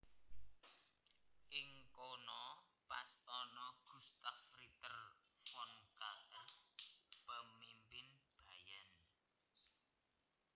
Ing kono pas ana Gustav Ritter von Kahr pemimpin Bayern